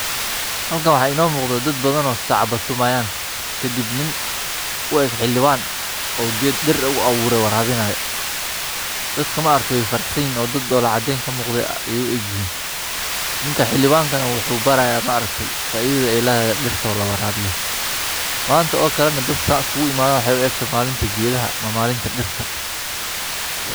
Halkan maxa ino muuqdho dad usacabo tumayan kadib nin Ueg xiliban Oo ged dhir Uuabure warabinayo dad maaragte wey farax sanyihin oo dalay Caden kamuqata ayey Ueg yihiin nin xilibanka muxu baraya faidhadha ey ledhahay ditto lawarabiyo manta Ookale dad markey isugu imadhan maxey uegtahy malinta gedhaha ama malinka dhirta